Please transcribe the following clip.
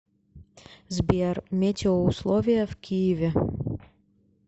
сбер метеоусловия в киеве